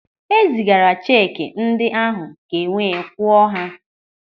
E zigara cheki ndị ahụ ka enwee kwụọ ha.